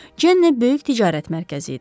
Cenni böyük ticarət mərkəzi idi.